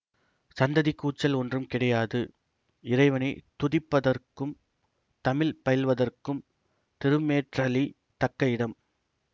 சந்தடி கூச்சல் ஒன்றும் கிடையாது இறைவனைத் துதிப்பதற்கும் தமிழ் பயில்வதற்கும் திருமேற்றளி தக்க இடம்